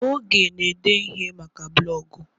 Oge na ede ihe maka blọgụ